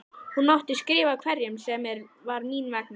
Hún mátti skrifa hverjum sem var mín vegna.